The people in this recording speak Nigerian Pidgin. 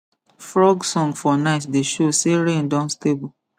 frog song for night dey show say rain don stable